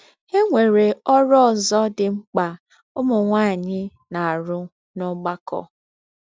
E nwere ọrụ ọzọ dị mkpa ụmụ nwaanyị na - arụ n’ọgbakọ.